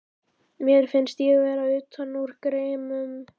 Mér fannst ég vera utan úr geimnum.